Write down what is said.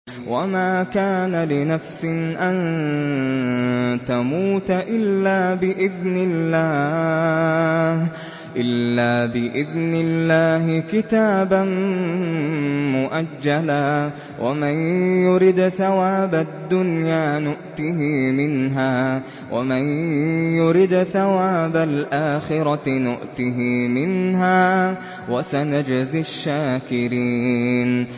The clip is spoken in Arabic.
وَمَا كَانَ لِنَفْسٍ أَن تَمُوتَ إِلَّا بِإِذْنِ اللَّهِ كِتَابًا مُّؤَجَّلًا ۗ وَمَن يُرِدْ ثَوَابَ الدُّنْيَا نُؤْتِهِ مِنْهَا وَمَن يُرِدْ ثَوَابَ الْآخِرَةِ نُؤْتِهِ مِنْهَا ۚ وَسَنَجْزِي الشَّاكِرِينَ